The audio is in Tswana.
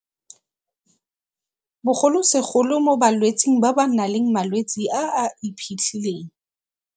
bogolosegolo mo balwetseng ba ba nang le malwetse a a iphitlhileng.